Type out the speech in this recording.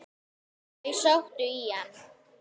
Þau sóttu í hann.